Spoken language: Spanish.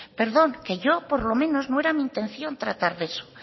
perdón que yo por lo menos no era mi intención tratar de eso